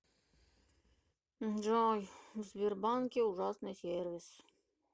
джой в сбербанке ужасный сервис